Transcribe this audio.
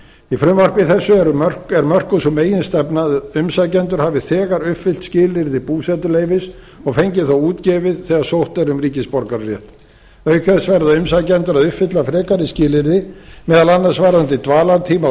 í frumvarpi þessu er mörkuð sú meginstefna að umsækjendur hafi þegar uppfyllt skilyrði búsetuleyfis og fengið það útgefið þegar sótt er um ríkisborgararétt auk þess verða umsækjendur að uppfylla frekari skilyrði meðal annars varðandi dvalartíma á